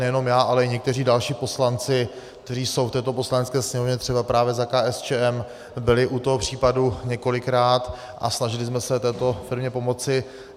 Nejenom já, ale i někteří další poslanci, kteří jsou v této Poslanecké sněmovně, třeba právě za KSČM, byli u toho případu několikrát a snažili jsme se této firmě pomoci.